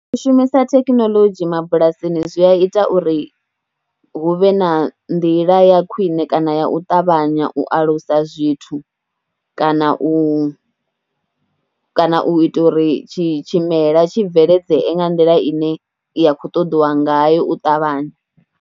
U shumisa thekinoḽodzhi mabulasini zwi a ita uri hu vhe na nḓila ya khwine kana ya u ṱavhanya u alusa zwithu kana u, kana u itela uri tshi tshimela tshi bveledzee nga nḓila ine ya khou ṱoḓiwa ngayo u ṱavhanya.